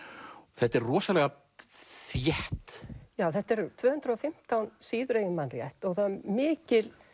þetta er rosalega þétt já þetta er tvö hundruð og fimmtán síður ef ég man rétt og það er mikil